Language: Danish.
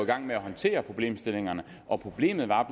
gang med at håndtere problemstillingerne og problemet var